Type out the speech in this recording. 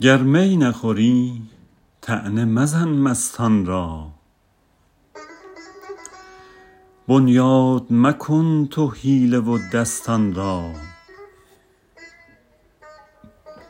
گر می نخوری طعنه مزن مستان را بنیاد مکن تو حیله و دستان را